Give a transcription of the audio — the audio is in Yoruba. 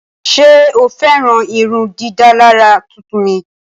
Ṣe o fẹran irundidalara tuntun mi?